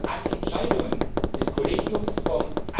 Alle Entscheidungen des Kollegiums vom